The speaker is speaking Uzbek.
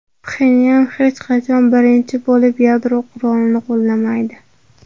Pxenyan hech qachon birinchi bo‘lib yadro qurolini qo‘llamaydi.